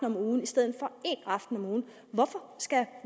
om ugen i stedet for en aften om ugen hvorfor skal